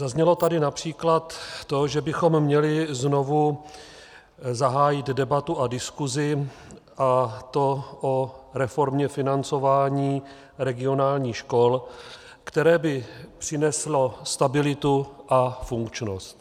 Zaznělo tady například to, že bychom měli znovu zahájit debatu a diskusi, a to o reformě financování regionálních škol, které by přineslo stabilitu a funkčnost.